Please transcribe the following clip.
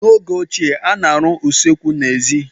N'oge ochie, a na-arụ usekwu n'èzí.